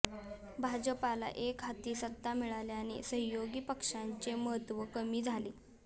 भाजपला एकहाती सत्ता मिळाल्याने सहयोगी पक्षांचे महत्त्व कमी झाले